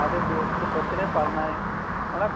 ਦੇ ਪੇਟ ਚ ਬੱਚੇ ਨੇ ਪਾਲਣਾ ਏ ਹਨਾ